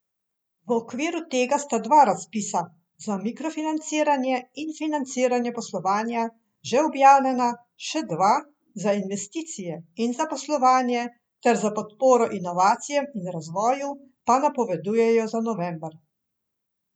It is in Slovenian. Jože Zagožen ni nova oseba, Ivan Črnkovič prav tako ne.